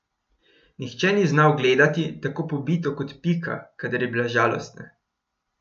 Nihče ni znal gledati tako pobito kot Pika, kadar je bila žalostna.